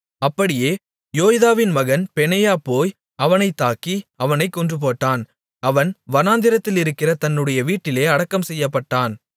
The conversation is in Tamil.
அப்படியே யோய்தாவின் மகன் பெனாயா போய் அவனைத் தாக்கி அவனைக் கொன்றுபோட்டான் அவன் வனாந்திரத்திலிருக்கிற தன்னுடைய வீட்டிலே அடக்கம் செய்யப்பட்டான்